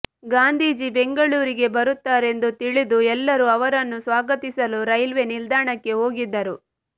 ಗಾಂಧೀಜಿ ಬೆಂಗಳೂರಿಗೆ ಬರುತ್ತಾರೆಂದು ತಿಳಿದು ಎಲ್ಲರೂ ಅವರನ್ನು ಸ್ವಾಗತಿಸಲು ರೇಲ್ವೆ ನಿಲ್ದಾಣಕ್ಕೆ ಹೋಗಿದ್ದರು